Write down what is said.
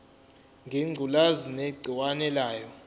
ngengculazi negciwane layo